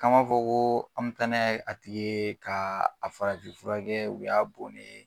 Kama fɔ ko an mi taa n'a ye a tigi ye, ka a farafin furakɛ u y'a bonnen